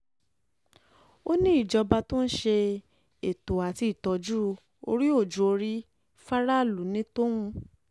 ó ní ìjọba tó ń ṣe ètò àti ìtọ́jú orí-ò-jù-ọ̀rí fáráàlú ní tòun